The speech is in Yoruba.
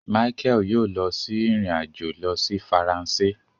Michael yoo lọ sí ìrìn-àjò lọ si Faransé